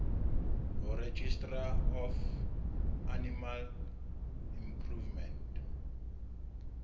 ho registrar of animal improvement